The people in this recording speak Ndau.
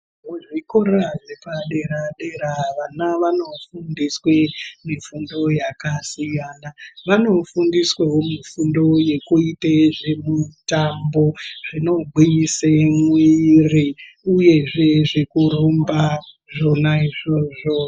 Muzvikora zvepadera-dera vana vanofundiswe mifundo yakasiyana. Vanofundiswewo mifundo yekuite zvemutambo zvinogwinyise mwiiri, uyezve zvekurumba zvona izvozvo.